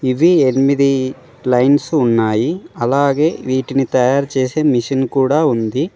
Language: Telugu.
ఇవి ఎనిమిది లైన్స్ ఉన్నాయి అలాగే వీటిని తయారు చేసే మిషన్ కూడా ఉంది.